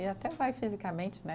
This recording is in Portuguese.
E até vai fisicamente, né?